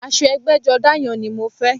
Aṣọ ẹgbẹ́jọdá yẹn ni mo fẹ́